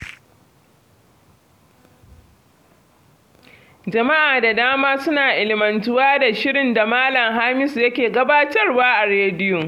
Jama'a da dama suna ilimantuwa da shirin da Malam Hamisu yake gabatarwa a rediyo